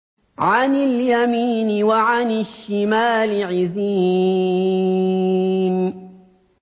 عَنِ الْيَمِينِ وَعَنِ الشِّمَالِ عِزِينَ